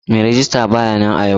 Mai rejista ba ya nan a yau.